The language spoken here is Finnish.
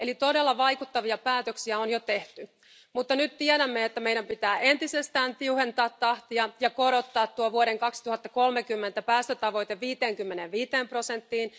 Eli todella vaikuttavia päätöksiä on jo tehty, mutta nyt tiedämme, että meidän pitää entisestään tiuhentaa tahtia ja korottaa tuo vuoden 2030 päästötavoite 55 prosenttiin.